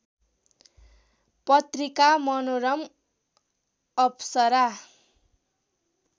पत्रिका मनोरम अप्सरा